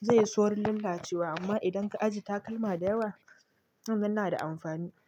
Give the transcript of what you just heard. zai yi saurin lallace wa amma idan ka ajiye takalma da yawa, wannan na da amfani.